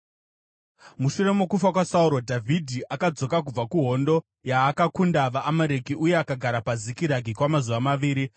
Mushure mokufa kwaSauro, Dhavhidhi akadzoka kubva kuhondo yaakakunda vaAmareki uye akagara paZikiragi kwamazuva maviri.